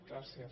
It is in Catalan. gràcies